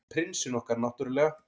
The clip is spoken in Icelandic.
Prinsinn okkar, náttúrlega.